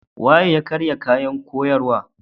Wa ya karya kayan koyarwa?